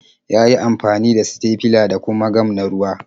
Ya yi amfani da sitefila da kuma gam na ruwa.